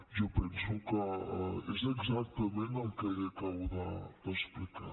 jo penso que és exactament el que li acabo d’explicar